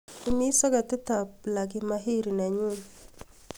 imis soketit ab plagi mahiri nenyun